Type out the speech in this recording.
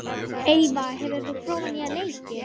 Eyva, hefur þú prófað nýja leikinn?